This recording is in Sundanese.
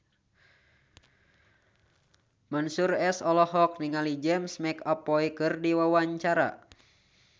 Mansyur S olohok ningali James McAvoy keur diwawancara